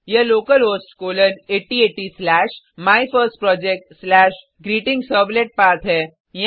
यह localhost colon 8080 slash my first project slash greeting servlet पथ है